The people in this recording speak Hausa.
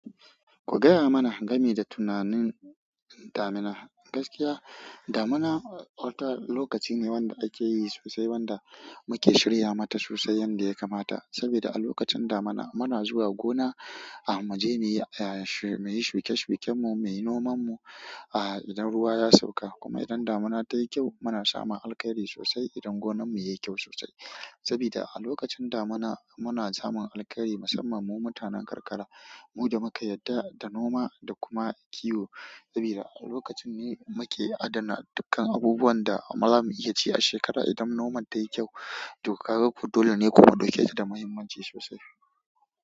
Ku gaya mana game da tunanin damina gaskiya, damina wata lokaci ne wanda ake yi sosai, wanda muke shirya mata sosai yanda ya kamata. Sabida a lokacin damina muna zuwa gona muje mu yi ahuke shuken mu mu yi numan mu idan ruwa ya sauka kuma idan damina ta yi kyau, muna samun alkari sosai idan gonan mu ya yi kyau sosai. Saboda a lokacin damina muna samun alkari musamman mu mutanen karkara, mu da muka yarda da noma da kuma kiwo. Saboda a lokacin ne muke adana dukkan abubuwan da amma za mu iya ci a shekara idan noman ta yi kyau. To, kaga kodole ne kuma ɗauke ta da muhimmanci sosai.